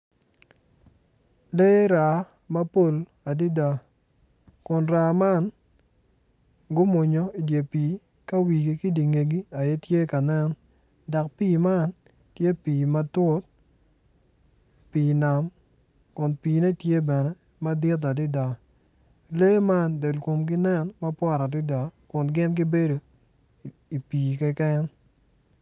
Lee raa mapol adida kun raa man gumonyo i dye pii ka wigi ki dingegi keken aye tye ka nen dak pii man tye pii matut pii nam kun piine tye bene madit adida lee man del komgi nen mabwot adida kun gin gibedo i pii keken